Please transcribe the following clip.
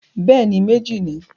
Bẹ́ẹ̀ni, méjì ni.